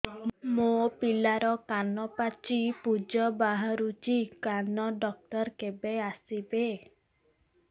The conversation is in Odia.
ମୋ ପିଲାର କାନ ପାଚି ପୂଜ ବାହାରୁଚି କାନ ଡକ୍ଟର କେବେ ଆସିବେ